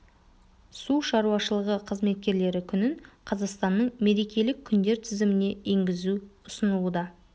су шаруашылығы қызметкерлері күнін қазақстанның мерекелік күндер тізіміне енгізу ұсынылуда